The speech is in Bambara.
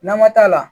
Nama t'a la